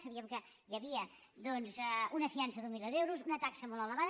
sabíem que hi havia doncs una fiança d’un milió d’euros una taxa molt elevada